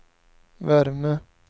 värme